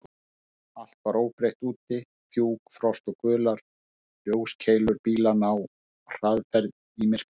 Allt var óbreytt úti: fjúk, frost og gular ljóskeilur bílanna á hraðferð í myrkrinu.